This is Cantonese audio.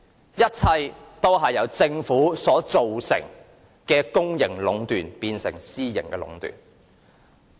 這一切均由政府將公營壟斷變成私營壟斷所致。